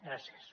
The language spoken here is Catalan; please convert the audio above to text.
gràcies